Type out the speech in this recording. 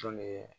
Jɔn ne